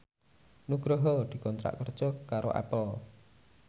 Nugroho dikontrak kerja karo Apple